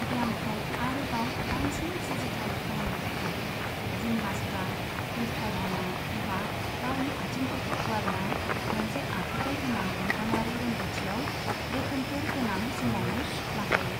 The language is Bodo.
ब्यामखौ आरोबाव बांसिन जुजिथाव खालामनो थाखाय, जिमनास्टा उल्था जाना एबा गावनि आथिंफोरखौ फुवारना मोनसे आखुथाय गोनां बेंखनारि रोंग'थियाव रोखोमफोर गोबां समावनो लाफायो।